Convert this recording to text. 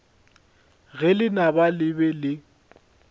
ge lenaba le be le